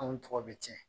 Anw tɔgɔ bɛ tiɲɛ